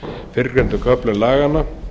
fyrrgreindum köflum laganna